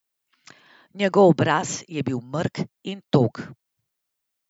Njegov obraz je bil mrk in tog.